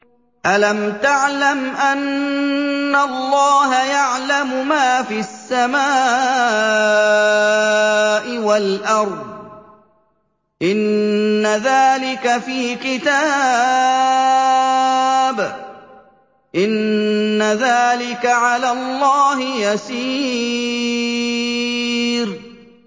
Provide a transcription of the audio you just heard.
أَلَمْ تَعْلَمْ أَنَّ اللَّهَ يَعْلَمُ مَا فِي السَّمَاءِ وَالْأَرْضِ ۗ إِنَّ ذَٰلِكَ فِي كِتَابٍ ۚ إِنَّ ذَٰلِكَ عَلَى اللَّهِ يَسِيرٌ